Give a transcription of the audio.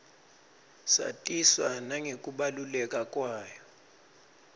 satiswa nangekubaluleka kwayo